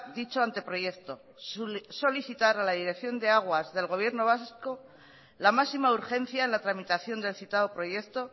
dicho anteproyecto solicitar a la dirección de aguas del gobierno vasco la máxima urgencia en la tramitación del citado proyecto